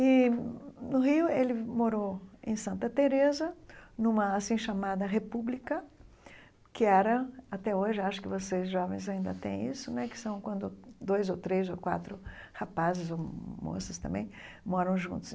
E, no Rio, ele morou em Santa Tereza, numa assim chamada República, que era, até hoje, acho que vocês jovens ainda têm isso, né, que são quando dois ou três ou quatro rapazes ou moças também moram juntos.